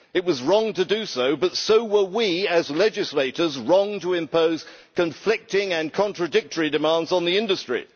It was wrong to do so, but so were we as legislators wrong to impose conflicting and contradictory demands on the industry.